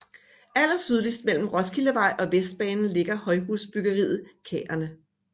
Allersydligst mellem Roskildevej og Vestbanen ligger højhusbyggeriet Kærene